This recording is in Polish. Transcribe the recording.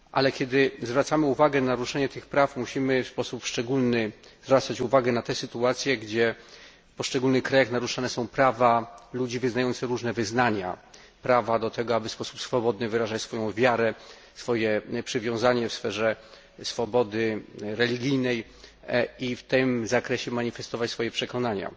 Kiedy jednak zwracamy uwagę na naruszenie tych praw, musimy w sposób szczególny zwracać uwagę na te sytuacje, gdzie w poszczególnych krajach naruszane są prawa ludzi wyznających różne wyznania, prawa do tego, aby w sposób swobodny wyrażać swoją wiarę, swoje przywiązanie w sferze swobody religijnej i w tym zakresie manifestować swoje przekonania.